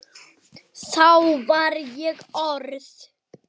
Dansinn hreyfir við fólki.